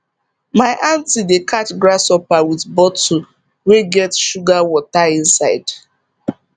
my aunty dey catch grasshopper with bottle wey get sugar water inside